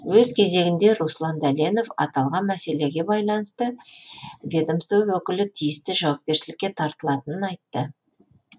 өз кезегінде руслан дәленов аталған мәселеге байланысты ведомство өкілі тиісті жауапкершілікке тартылатынын айтты